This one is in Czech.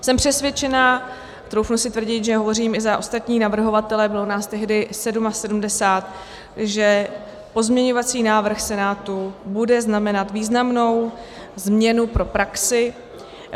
Jsem přesvědčena - troufnu si tvrdit, že hovořím i za ostatní navrhovatele, bylo nás tehdy 77 -, že pozměňovací návrh Senátu bude znamenat významnou změnu pro praxi.